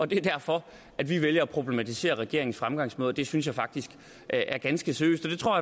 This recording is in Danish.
det er derfor vi vælger at problematisere regeringens fremgangsmåde det synes jeg faktisk er ganske seriøst og det tror